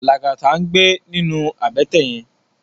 Lagata n gbé ninú àbètè yèn